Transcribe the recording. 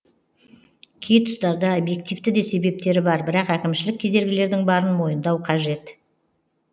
кей тұстарда объективті де себептері бар бірақ әкімшілік кедергілердің барын мойындау қажет